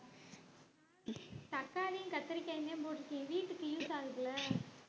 தக்காளியும் கத்தரிக்காயுமே வீட்டுக்கு use ஆகுதுல்ல